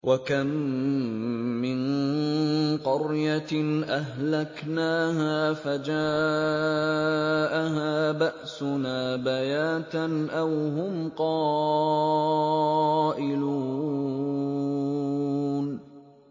وَكَم مِّن قَرْيَةٍ أَهْلَكْنَاهَا فَجَاءَهَا بَأْسُنَا بَيَاتًا أَوْ هُمْ قَائِلُونَ